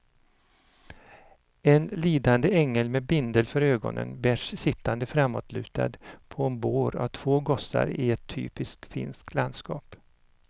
En lidande ängel med bindel för ögonen bärs sittande framåtlutad på en bår av två gossar i ett typiskt finskt landskap.